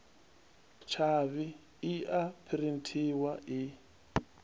tshavhi i a phurinthiwa i